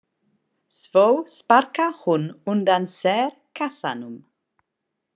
Svo sparkar hún undan sér kassanum.